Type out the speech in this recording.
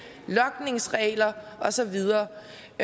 med logningsregler og så videre